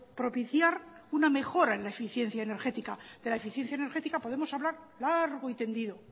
propiciar una mejora en la eficiencia energética de la eficiencia energética podemos hablar largo y tendido